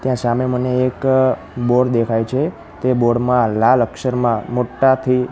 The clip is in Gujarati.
ત્યાં સામે મને એક બોર્ડ દેખાય છે તે બોર્ડ મા લાલ અક્ષરમાં મોટ્ટાથી--